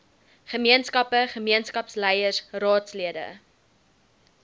gemeenskappe gemeenskapsleiers raadslede